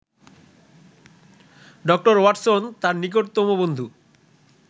doctor Watson তাঁর নিকটতম বন্ধু